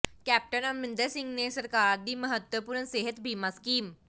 captain Amarinder Singh ਨੇ ਸਰਕਾਰ ਦੀ ਮਹੱਤਵਪੂਰਨ ਸਿਹਤ ਬੀਮਾ ਸਕੀਮ